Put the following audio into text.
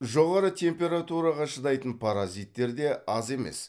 жоғары температураға шыдайтын паразиттер де аз емес